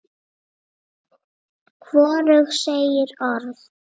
Hvorug segir orð.